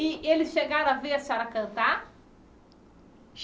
E eles chegaram a ver a senhora cantar?